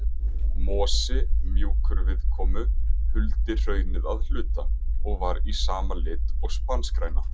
Mosi, mjúkur viðkomu, huldi hraunið að hluta, og var í sama lit og spanskgræna.